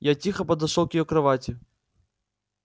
я тихо подошёл к её кровати